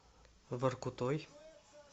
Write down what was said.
воркутой